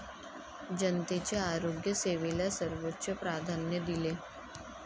जनतेच्या आरोग्य सेवेला सर्वोच्च प्राधान्य दिले.